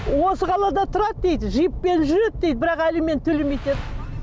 осы қалада тұрады дейді джиппен жүреді дейді бірақ алимент төлемейді